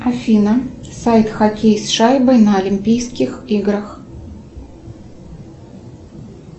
афина сайт хоккей с шайбой на олимпийских играх